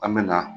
An bɛ na